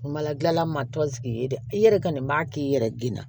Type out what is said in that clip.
Kumala gilan ma tɔn sigi dɛ i yɛrɛ ka nin b'a k'i yɛrɛ ginna